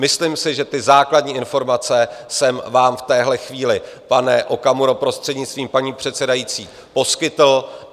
Myslím si, že ty základní informace jsem vám v téhle chvíli, pane Okamuro, prostřednictvím paní předsedající, poskytl.